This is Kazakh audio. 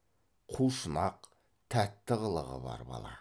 қу шұнақ тәтті қылығы бар бала